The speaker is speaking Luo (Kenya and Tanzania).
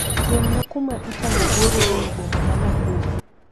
Simna kuma itango goro eiy boma ma Nakuru